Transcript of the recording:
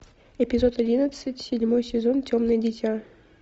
эпизод одиннадцать седьмой сезон темное дитя